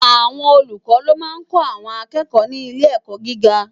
Awòn ólúkò ló má n kò áwòn àkèkò ni ilé èkò gigá